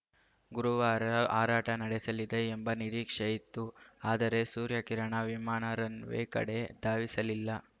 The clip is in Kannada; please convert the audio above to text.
ಗುರುವಾರ ಹಾರಾಟ ನಡೆಸಲಿದೆ ಎಂಬ ನಿರೀಕ್ಷೆ ಇತ್ತು ಆದರೆ ಸೂರ್ಯಕಿರಣ ವಿಮಾನ ರನ್‌ ವೇ ಕಡೆ ಧಾವಿಸಲಿಲ್ಲ